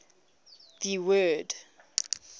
the word